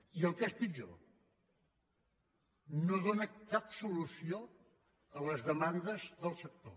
i el que és pitjor no dóna cap solució a les demandes del sector